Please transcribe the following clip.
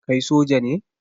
Kai soja ne?